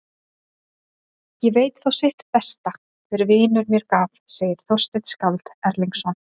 Ég veit þó sitt besta hver vinur mér gaf, segir Þorsteinn skáld Erlingsson.